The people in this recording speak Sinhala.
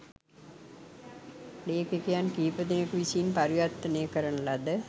ලේඛකයන් කිහිපදෙනකු විසින් පරිවර්තනය කරන ලද